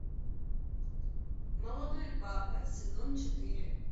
молодой папа сезон четыре